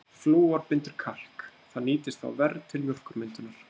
Flúor bindur kalk, það nýtist þá verr til mjólkurmyndunar.